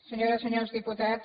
senyores i senyors diputats